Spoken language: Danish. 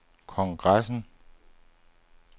kongressen